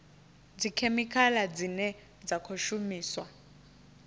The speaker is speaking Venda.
dzikhemikhala dzine dza khou shumiswa